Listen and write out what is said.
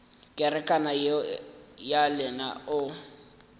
kerekana yeo ya lena o